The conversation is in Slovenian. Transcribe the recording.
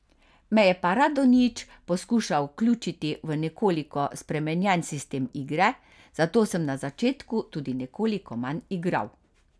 Me je pa Radonjić poskušal vključiti v nekoliko spremenjen sistem igre, zato sem na začetku tudi nekoliko manj igral.